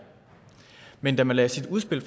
men da man lagde sit udspil